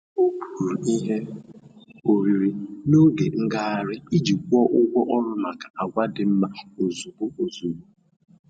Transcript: O buuru ihe oriri n'oge ngaghari iji kwụọ ụgwọ ọrụ maka agwà dí mma ozugbo ozugbo